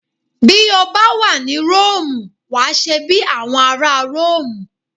Bí ó bá wà ní Róòmù wàá ṣe bí àwọn ará Róòmù